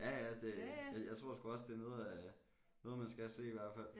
Ja ja det jeg tror sgu også det er noget af noget man skal se i hvert fald